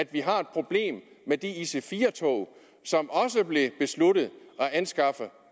vi har problem med de ic4 tog som også blev besluttet anskaffet